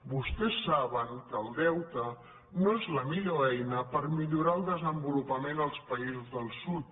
vostès saben que el deute no és la millor eina per millorar el desenvolupament als països del sud